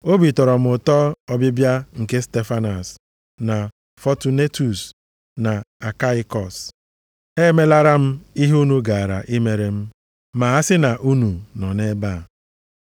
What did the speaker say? Obi tọrọ m ụtọ nʼọbịbịa nke Stefanas na Fọtunetus na Akaikọs. Ha emelara m ihe unu gaara emere m, ma a sị na unu nọ nʼebe a.